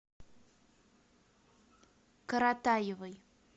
коротаевой